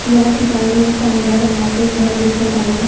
या ठिकाणी एक पांढऱ्या रंगाचे घर दिसत आहे.